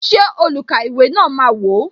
Ṣé olukaiwe na máa wò?